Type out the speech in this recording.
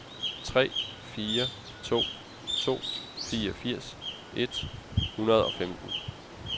tre fire to to fireogfirs et hundrede og femten